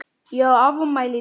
Ég á afmæli í dag.